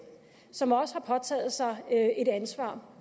som også har påtaget sig et ansvar